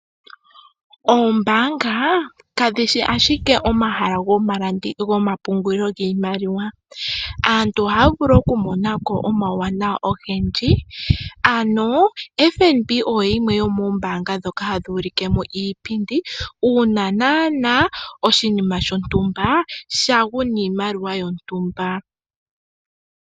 Oombaanga kadhi shi ashike omahala gomapungulilo giimaliwa. Aantu ohaya vulu okumona ko omawuwanawa ogendji. FNB oyo yimwe yomoombaanga ndhoka hadhi ulike mo iipindi uuna naanaa ondando yoshinima shontumba sha gu niimaliwa yomwaalu gontumba.